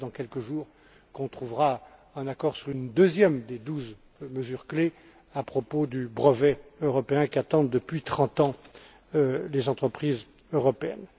J'espère que, dans quelques jours, on trouvera un accord sur une deuxième des douze mesures clés à propos du brevet européen qu'attendent, depuis trente ans, les entreprises européennes.